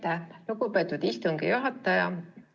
Aitäh, lugupeetud istungi juhataja!